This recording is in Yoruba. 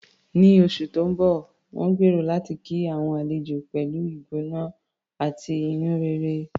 Ní oṣù tó ń bọ̀, wọ́n gbèrò láti kí àwọn àlejò pẹ̀lú ìgbóná àti inú rere.